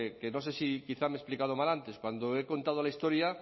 que no sé si quizá me he explicado mal antes cuando he contado la historia